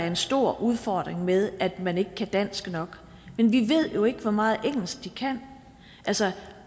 en stor udfordring med at man ikke kan dansk nok men vi ved jo ikke hvor meget engelsk de kan altså